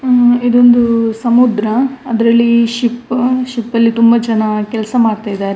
ಹಮ್ ಇದೊಂದು ಸಮುದ್ರ ಅದರಲ್ಲಿ ಶಿಪ್ ಶಿಪ್ ಲಿ ತುಂಬಾ ಜನ ಕೆಲಸ ಮಾಡ್ತಾ ಇದ್ದಾರೆ --